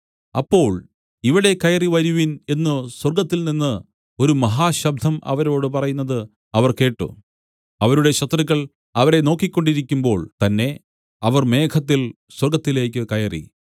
അപ്പോൾ ഇവിടെ കയറിവരുവിൻ എന്നു സ്വർഗ്ഗത്തിൽനിന്ന് ഒരു മഹാശബ്ദം അവരോട് പറയുന്നത് അവർ കേട്ട് അവരുടെ ശത്രുക്കൾ അവരെ നോക്കിക്കൊണ്ടിരിക്കുമ്പോൾ തന്നെ അവർ മേഘത്തിൽ സ്വർഗ്ഗത്തിലേക്ക് കയറി